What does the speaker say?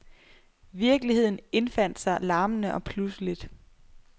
Virkeligheden indfandt sig larmende og pludseligt.